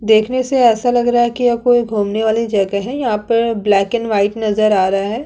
देखने से ऐसा नजर लग रहा है ये कोई घुमने वाली जगह है यहाँ पर ब्लैक एंड वाइट नजर आ रहा है।